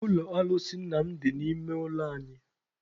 Ụlọ alụsị nna m dị n'ime ụlọ anyị.